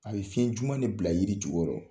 A bɛ fiɲɛ juma ne bila yiri jukɔrɔ.